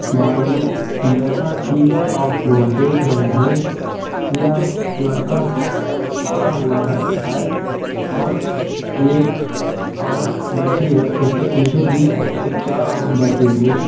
भाइयों जैसा कि आप लोग देख रहे हैं यह लड़का खड़ा हुआ है और एक औरत बैठी है उसके पीछे तीन एक चार औरतें बैठी हुई हैं।